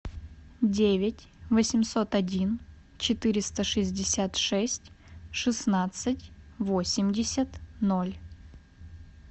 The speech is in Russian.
девять восемьсот один четыреста шестьдесят шесть шестнадцать восемьдесят ноль